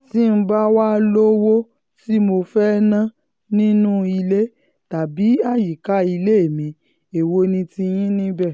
tí n bá wàá lówó um tí mo fẹ́ẹ́ ná nínú um ilé tàbí àyíká ilé mi èwo ni tiyín níbẹ̀